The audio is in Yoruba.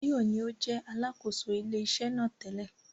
Báyọ̀ ní ó jẹ́ Alákóso ilé iṣẹ́ náà tẹ́lẹ̀